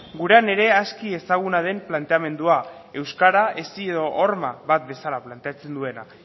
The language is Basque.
gurean ere aski ezaguna den planteamendua euskara hesi edo horma bat bezala planteatzen duena